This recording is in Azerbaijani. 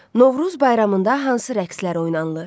Novruz bayramında hansı rəqslər oynanılır?